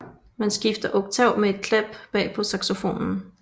Man skifter oktav med en klap bag på saxofonen